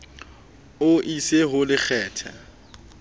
o e ise ho lekgathe